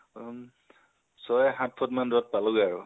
উমঃ ছয় সাত ফুত দুৰত পালোগে আৰু